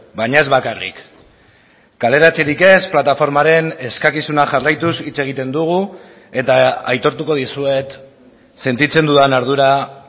baina ez bakarrik kaleratzerik ez plataformaren eskakizuna jarraituz hitz egiten dugu eta aitortuko dizuet sentitzen dudan ardura